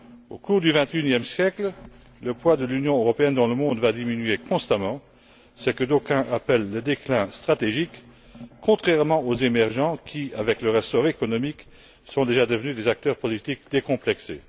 Au cours du vingt et unième siècle, le poids de l'Union européenne dans le monde va diminuer constamment, ce que d'aucuns appellent le déclin stratégique, contrairement aux pays émergents qui, avec leur essor économique, sont déjà devenus des acteurs politiques décomplexés.